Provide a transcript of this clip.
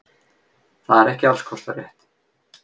Það er ekki alls kostar rétt.